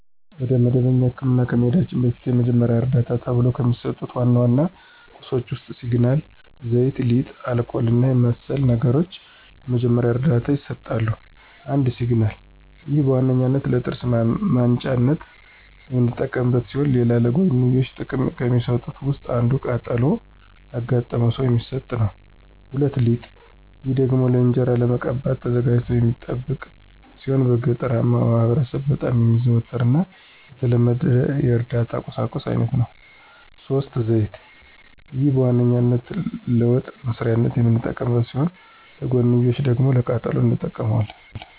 ወደ መደበኛ ህክምና ከመሂዳችን በፊት የመጀመሪያ ዕርዳታ ተብሎው ከሚሰጡ ዋና ዋና ቁሳቁሶች ውስጥ ሲግናል፣ ዘይት፣ ሊጥ፣ አልኮል እና መሰል ነገሮች ለመጀመሪያ ዕርዳታ ይሰጣሉ። ፩) ሲግናል፦ ይህ በዋነኛነት ለጥርስ ማንጫነት የምንጠቀምበት ሲሆን ሌላ ለጎንዮሽ ጥቅም ከሚሰጡት ውስጥ አንዱ ቃጠሎ ላጋጠመው ሰው የሚሰጥ ነው። ፪) ሊጥ፦ ይህ ደግሞ ለእንጅራ ለመቀባት ተዘጋጅቶ የሚጠብቅ ሲሆን በገጠራማው ማህበረሰብ በጣም የሚዘወተር እና የተለመደ የእርዳታ ቁሳቁስ አይነት ነው። ፫) ዘይት፦ ይህ በዋነኛነት ለወጥ መስሪያነት የምንጠቀመው ሲሆን ለጎንዮሽ ደግሞ ለቃጠሎም እንጠቀመዋለን።